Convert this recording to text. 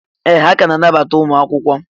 Ee! Ha ka na-anabata ụmụ akwụkwọ.